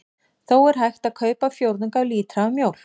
Þó er hægt að kaupa fjórðung af lítra af mjólk.